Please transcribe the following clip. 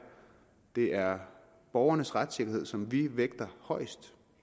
det er borgernes retssikkerhed som vi vægter højest